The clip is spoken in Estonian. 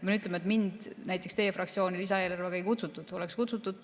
Pean ütlema, et mind näiteks teie fraktsiooni lisaeelarvet ei kutsutud.